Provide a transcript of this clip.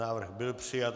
Návrh byl přijat.